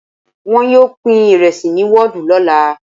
Wọn yóò pín ìrẹsì ní wọ́ọ̀dù lọ́la.